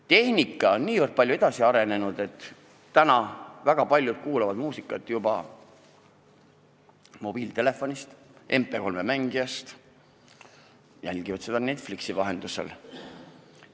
Tehnika on nii palju edasi arenenud, et väga paljud kuulavad muusikat mobiiltelefonist või MP3-mängijast ja jälgivad filme Netflixi vahendusel.